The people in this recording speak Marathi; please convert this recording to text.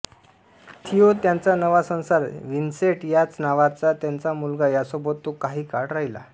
थिओ त्याचा नवा संसार व्हिन्सेंट याच नावाचा त्याचा मुलगा यांसोबत तो कांही काळ राहिला